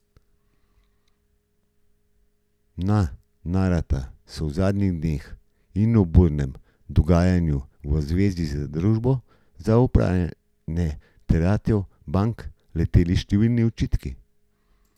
Na Narata so v zadnjih dneh in ob burnem dogajanju v zvezi z Družbo za upravljanje terjatev bank leteli številni očitki.